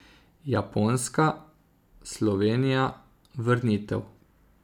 Japonska, Slovenija, vrnitev.